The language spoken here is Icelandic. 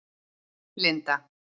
Linda